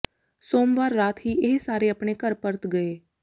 ਸੋਮਵਾਰ ਰਾਤ ਹੀ ਇਹ ਸਾਰੇ ਆਪਣੇ ਘਰ ਪਰਤ ਗਏ